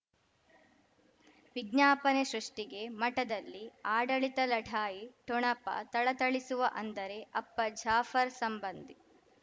ವಿಜ್ಞಾಪನೆ ಸೃಷ್ಟಿಗೆ ಮಠದಲ್ಲಿ ಆಡಳಿತ ಲಢಾಯಿ ಠೊಣಪ ಥಳಥಳಿಸುವ ಅಂದರೆ ಅಪ್ಪ ಜಾಫರ್ ಸಂಬಂಧಿ